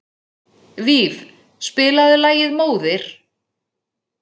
Víf, spilaðu lagið „Móðir“.